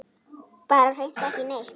Bara hreint ekki neitt.